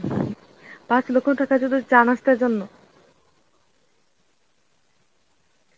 পাঁচ লক্ষ টাকা শুধু চা নাস্তার জন্য.